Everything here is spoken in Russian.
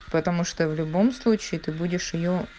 потому что в любом случае ты будешь её